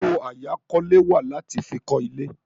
Owó àyákọ́lé wà láti fi kọ́ ilé.